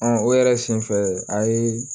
o yɛrɛ senfɛ a ye